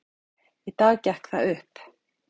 Í dag gekk það upp.